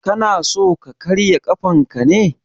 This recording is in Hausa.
Kana so ka karya ƙafanka ne?